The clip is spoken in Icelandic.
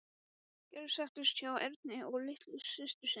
Gerður settist hjá Erni og litlu systur sinni.